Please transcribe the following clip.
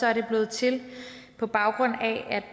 er det blevet til på baggrund